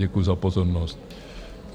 Děkuji za pozornost.